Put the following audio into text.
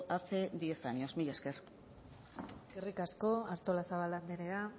hace diez años mila esker eskerrik asko artolazabal andrea